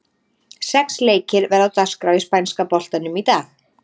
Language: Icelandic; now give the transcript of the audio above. Sex leikir verða á dagskrá í spænska boltanum í dag.